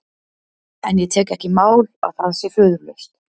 En ég tek ekki í mál að það sé föðurlaust.